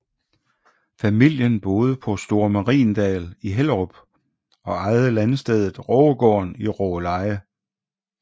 Familien boede på Store Mariendal i Hellerup og ejede landstedet Rågegården i Rågeleje